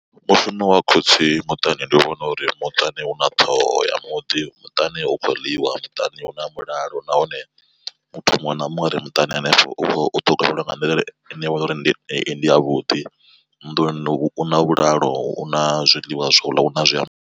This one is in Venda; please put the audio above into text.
Mushumo wa khotsi muṱani ndi vhona uri muṱani huna ṱhoho ya muḓi muṱani hu khou ḽiwa, muṱani hu na mulalo nahone muthu muṅwe na muṅwe are muṱani hanefho u ṱhogomeliwa nga nḓila ine ya vha uri ndi ya vhuḓi, nnḓu u na vhulalo u na zwiḽiwa zwa uḽa, una zwiambaro.